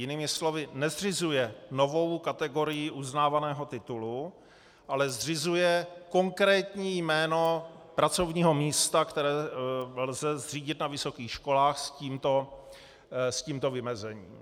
Jinými slovy, nezřizuje novou kategorii uznávaného titulu, ale zřizuje konkrétní jméno pracovního místa, které lze zřídit na vysokých školách s tímto vymezením.